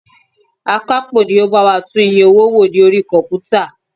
Akapo ni ó bá wa tún iye owó wò ní orí komputa.